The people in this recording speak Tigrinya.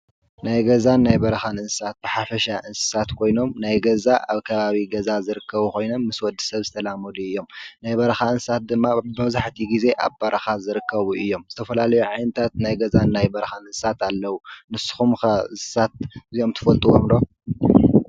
ናይ ገዛን ናይ በርኻን እንስሳት ብሓፈሻ እንስሳት ኮይኖም ናይ ገዛ ኣብ ከባቢ ገዛ ዝርከቡ ኾይኖም ምስ ወዲ ሰብ ዝተላመዱ እዮም፡፡ ናይ በርኻ እንስሳት ድማ መብዛሕቲኡ ጊዜ ኣብ በረኻ ዝርከቡ እዮም፡፡ ዝተፈላለዩ ዓይነታት ናይ ገዛን ናይ በርኻን እንስሳት ኣለዉ፡፡ ንስኹም ከ እንስሳት እዚኦም ትፈልጡዎም ዶ?